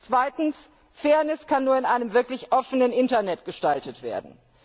Zweitens Fairness kann nur in einem wirklich offenen Internet gestaltet werden.